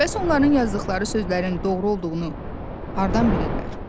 Bəs onların yazdıqları sözlərin doğru olduğunu hardan bilirlər?